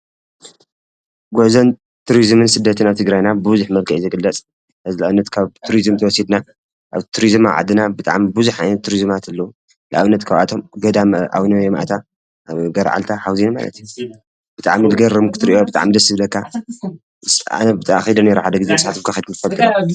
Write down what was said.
ጉዕዞን ቱሪዝምን ስደትን ኣብ ትግራይና ብቡዝሕ መልክዑ እዩ ዝግለፅ ንኣብነት ካብ ቱሪዝ እንተዎሲድና ቱሪዝም ኣብ ዓድና ቡዝሓት ቱሪዝማት ኣለዉ፡፡ ንኣብነት ካብ ኣቶም ገዳም ኣዉነ ይምኣታ ፣ገረዓልታ ፣ሓዉዝዬን ብጣዕሚ ዝገርም ክትሪኦም ብጣዕሚ ደስ ዝብለካ ዉስጡ ክዓነ ኣነ ከይደ ነይረ ሓደ ግዜ ንስካትኩምከ ከይድኩም ትፈልጡ?